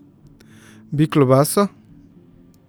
Bi klobaso?